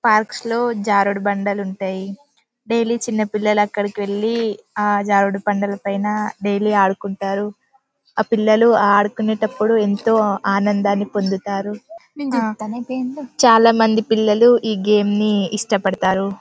Park లో జారుడు బండలు ఉంటాయి డైలీ చిన్న పిల్లలు అక్కడకి వెళ్లి జారుడు బండ్ల పైన డైలీ ఆడుకుంటారు ఆ పిల్లలు ఆడుకునేటప్పుడు ఎంతో ఆనందాన్ని పొందుతారు చాలా మంది పిల్లలు ఈ గేమ్ ని చాలా ఇష్ట పాడుతారు.